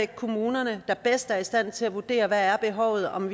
kommunerne der bedst er i stand til at vurdere hvad behovet er om